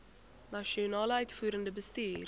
nasionale uitvoerende bestuur